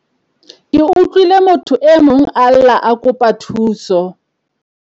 Ke utlwile motho e mong a lla a kopa thuso